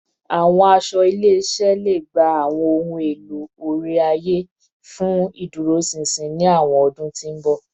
Awọn aṣọ ile-iṣẹ iṣẹ le gba awọn ohun elo ore-aye fun iduroṣinṣin ni awọn ọdun ti n bọ